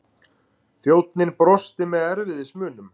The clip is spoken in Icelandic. Þjónninn brosti með erfiðismunum.